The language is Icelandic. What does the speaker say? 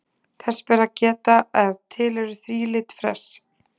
Þess ber að geta að til eru þrílit fress.